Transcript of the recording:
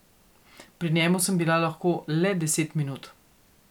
Pri njemu sem bila lahko le deset minut.